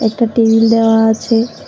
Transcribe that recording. একটা টেবিল দেওয়া আছে।